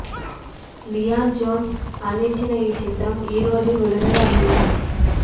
Lyon Jones అందించిన ఈ చిత్రం ఈ రోజే విడుదల అయింది